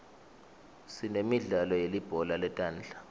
sinemidlalo yelibhola letandla